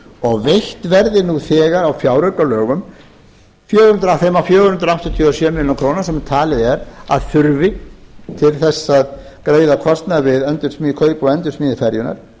og veitt verði nú þegar á fjáraukalögum af þeim fjögur hundruð áttatíu og sjö milljónir króna sem talið er að þurfi til þess að greiða kostnað við kaup og endursmíði ferjunnar